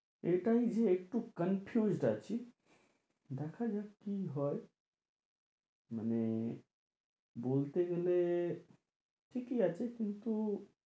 এটাই যে একটু confused আছি দেখা যাক কি হয় মানে বলতে গেলে ঠিকই আছে কিন্তু